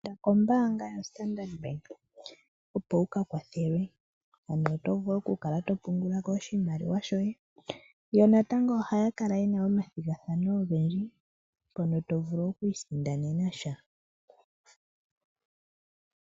inda kombanga ya Standard Bank opo wuka kwathelwe opo wukale tovulu okupungulako oshimaliwa shoye , yo natango ohakala yena omathingathano ongendji pono tovulu okwi sindanenasha